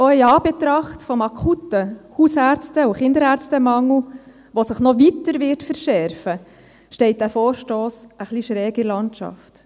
Auch in Anbetracht des akuten Hausärzte- und Kinderärztemangels, welcher sich noch weiter verschärfen wird, steht dieser Vorstoss etwas schräg in der Landschaft.